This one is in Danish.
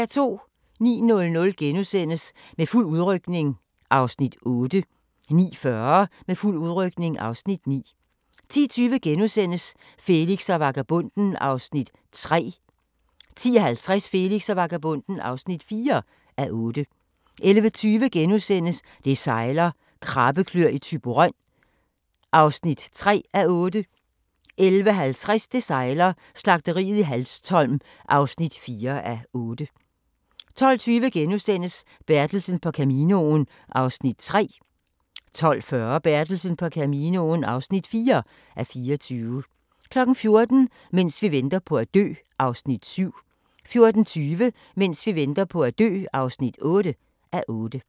09:00: Med fuld udrykning (Afs. 8)* 09:40: Med fuld udrykning (Afs. 9) 10:20: Felix og vagabonden (3:8)* 10:50: Felix og vagabonden (4:8) 11:20: Det sejler - Krabbekløer i Thyborøn (3:8)* 11:50: Det sejler - Slagteriet i Hanstholm (4:8) 12:20: Bertelsen på Caminoen (3:24)* 12:40: Bertelsen på Caminoen (4:24) 14:00: Mens vi venter på at dø (7:8) 14:20: Mens vi venter på at dø (8:8)